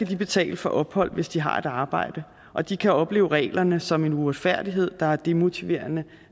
betale for opholdet hvis de har et arbejde og de kan opleve reglerne som en uretfærdighed der er demotiverende